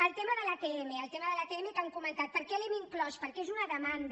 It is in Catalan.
el tema de l’atm el tema de l’atm que han comentat per què l’hem inclòs perquè és una demanda